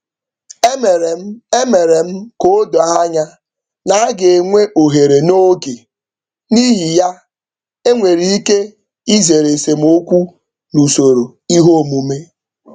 E mere m E mere m ka o doo anya na aga enwe ohere n'oge n'ihi ya e nwere ike izere esemokwu n'usoro ihe omume.